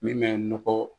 Min bɛ nɔgɔ